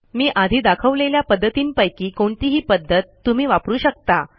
मी आधी दाखवलेल्या पध्दतींपैकी कोणतीही पध्दत तुम्ही वापरू शकता